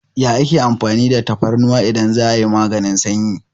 Ya ake amfani da tafarnuwa idan za'a yi maganin sanyi?